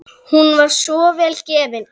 Hún var svo vel gefin.